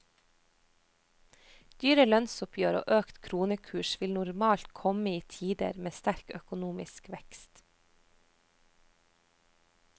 Dyre lønnsoppgjør og økt kronekurs vil normalt kom i tider med sterk økonomisk vekst.